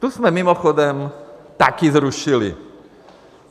Tu jsme mimochodem také zrušili.